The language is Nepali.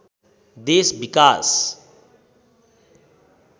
देश विकास